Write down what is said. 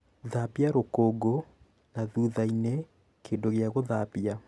Thambia rũkũngũ na thutha-inĩ kĩndũ gĩa gũthambia